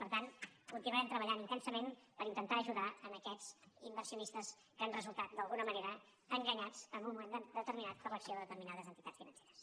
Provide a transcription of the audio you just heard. per tant continuarem treballant intensament per intentar ajudar aquests inversionistes que han resultat d’alguna manera enganyats en un moment determinat per l’acció de determinades entitats financeres